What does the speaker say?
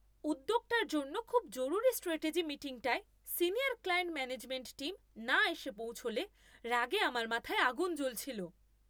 উদ্যোগটার জন্য খুব জরুরি স্ট্র্যাটেজি মিটিংটায় সিনিয়র ক্লায়েন্ট ম্যানেজমেন্ট টীম না এসে পৌঁছলে রাগে আমার মাথায় আগুন জ্বলছিল।